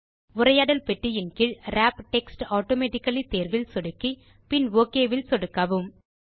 உரையாடல் பெட்டியின் கீழ் விராப் டெக்ஸ்ட் ஆட்டோமேட்டிக்கலி தேர்வில் சொடுக்கி பின் ஒக் பட்டன் இல் சொடுக்கவும்